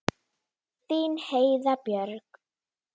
Þín Heiða Björg.